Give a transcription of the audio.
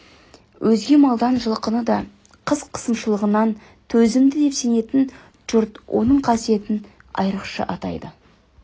өзге малдан жылқыны да қыс қысымшылығына төзімді деп сенетін жұрт оның қасиетін айрықша атайды